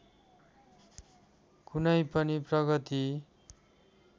कुनै पनि प्रगति